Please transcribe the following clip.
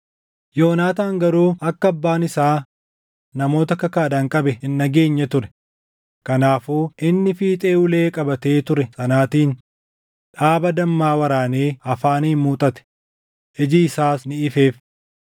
Yoonaataan garuu akka abbaan isaa namoota kakaadhaan qabe hin dhageenye ture; kanaafuu inni fiixee ulee qabatee ture sanaatiin dhaaba dammaa waraanee afaaniin muuxate; iji isaas ni ifeef.